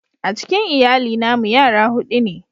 A cikin lyalli na mu yara hudu ne.